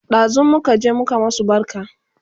Ɗazun muka je muka masu barka